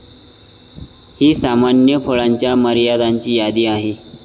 ही सामान्य फळांच्या मर्यादांची यादी आहे.